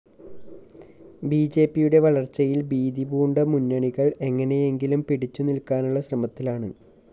ബിജെപിയുടെ വളര്‍ച്ചയില്‍ ഭീതിപൂണ്ട മുന്നണികള്‍ എങ്ങനെയെങ്കിലും പിടിച്ചു നില്‍ക്കാനുള്ള ശ്രമത്തിലാണ്